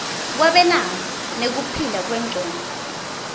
kwabelana nekuphila kwengcondvo